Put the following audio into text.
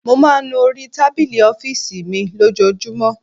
Mo máa ń nu orí tábìlì ọ́fíìsì mi lójoojúmọ́.